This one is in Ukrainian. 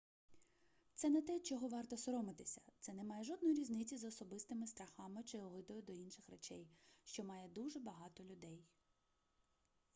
це не те чого варто соромитися це не має жодної різниці з особистими страхами чи огидою до інших речей що має дуже багато людей